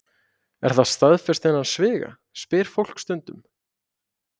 Er það staðfest innan sviga? spyr fólk stundum.